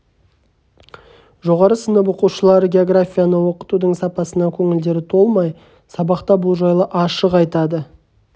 жоғары сынып оқушылары географияны оқытудың сапасына көңілдері толмай сабақта бұл жайлы ашық айтады